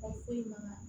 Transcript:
Mɔgɔ foyi ma